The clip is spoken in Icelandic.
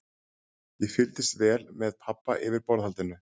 Ég fylgdist vel með pabba yfir borðhaldinu.